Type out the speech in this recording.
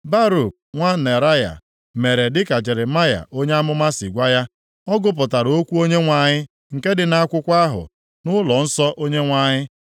Baruk nwa Neraya mere dịka Jeremaya onye amụma si gwa ya. Ọ gụpụtara okwu Onyenwe anyị, nke dị nʼakwụkwọ ahụ, nʼụlọnsọ Onyenwe anyị.